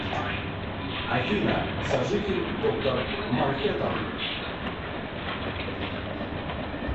афина сожитель доктор манхэттан